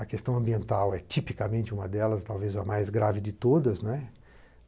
A questão ambiental é tipicamente uma delas, talvez a mais grave de todas.